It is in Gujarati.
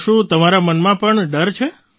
તો શું તમારા મનમાં પણ ડર છે